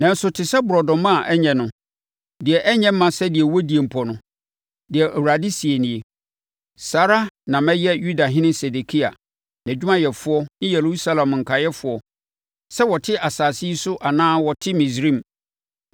“ ‘Nanso te sɛ borɔdɔma a ɛnyɛ no, deɛ ɛnyɛ mma sɛdeɛ wɔdie mpo no,’ deɛ Awurade seɛ nie, ‘saa ara na mɛyɛ Yudahene Sedekia, nʼadwumayɛfoɔ ne Yerusalem nkaeɛfoɔ, sɛ wɔte asase yi so anaa wɔte Misraim.